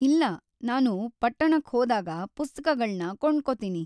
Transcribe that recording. ಇಲ್ಲ, ನಾನು ಪಟ್ಟಣಕ್ ಹೋದಾಗ ಪುಸ್ತಕಗಳ್ನ ಕೊಂಡ್ಕೊತೀನಿ.